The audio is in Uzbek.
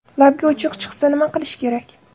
Labga uchuq chiqsa nima qilish kerak?.